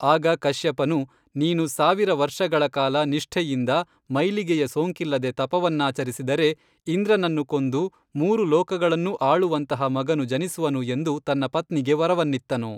ಆಗ ಕಶ್ಯಪನು ನೀನು ಸಾವಿರ ವರ್ಷಗಳ ಕಾಲ ನಿಷ್ಠೆಯಿಂದ ಮೈಲಿಗೆಯ ಸೋಂಕಿಲ್ಲದೆ ತಪವನ್ನಾಚರಿಸಿದರೆ ಇಂದ್ರನನ್ನು ಕೊಂದು ಮೂರು ಲೋಕಗಳನ್ನೂ ಆಳುವಂತಹ ಮಗನು ಜನಿಸುವನು ಎಂದು ತನ್ನ ಪತ್ನಿಗೆ ವರವನ್ನಿತ್ತನು